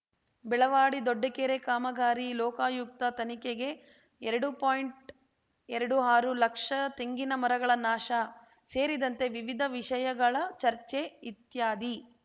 ಬೆಳವಾಡಿ ದೊಡ್ಡಕೆರೆ ಕಾಮಗಾರಿ ಲೋಕಾಯುಕ್ತ ತನಿಖೆಗೆ ಎರಡು ಪಾಯಿಂಟ್ಎರಡು ಆರು ಲಕ್ಷ ತೆಂಗಿನ ಮರಗಳ ನಾಶ ಸೇರಿದಂತೆ ವಿವಿಧ ವಿಷಯಗಳ ಚರ್ಚೆ ಇತ್ಯಾದಿ